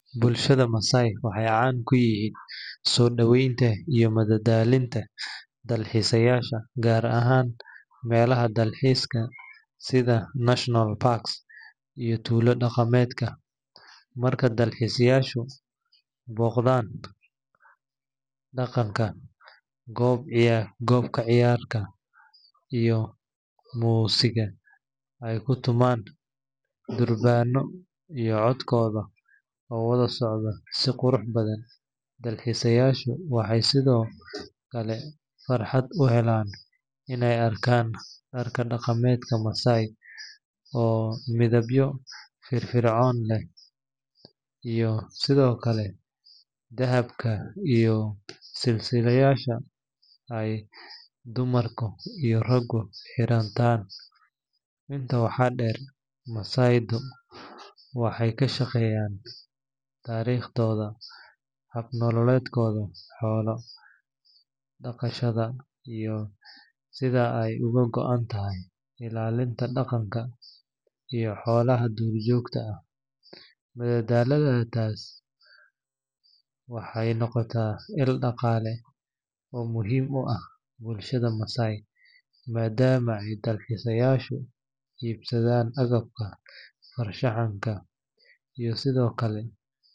Bulshada Maasai waxay caan ku yihiin soo dhaweynta iyo madadaalinta dalxiisayaasha, gaar ahaan meelaha dalxiiska sida national parks iyo tuulo dhaqameedka. Marka dalxiisayaashu booqdaan, Maasai-du waxay u soo bandhigaan dhaqankooda hodanka ah oo ay ka mid yihiin ciyaaraha dhaqanka, qoob ka ciyaarka, iyo muusigga ay ku tumaan durbaano iyo codkooda oo wada socdo si qurux badan. Dalxiisayaashu waxay sidoo kale fursad u helaan inay arkaan dharka dhaqameedka Maasai oo midabyo firfircoon leh, iyo sidoo kale dahabka iyo silsiladaha ay dumarka iyo raggu xirtaan. Intaa waxaa dheer, Maasai-du waxay ka sheekeeyaan taariikhdooda, hab nololeedkooda xoolo dhaqashada, iyo sida ay uga go’an tahay ilaalinta deegaanka iyo xoolaha duurjoogta ah. Madadaalintaas waxay noqotay il dhaqaale oo muhiim u ah bulshada Maasai, maadaama ay dalxiisayaashu iibsadaan agabka farshaxanka iyo sidoo kale.